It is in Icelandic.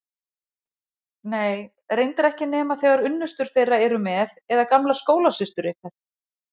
Nei, reyndar ekki nema þegar unnustur þeirra eru með eða gamlar skólasystur ykkar.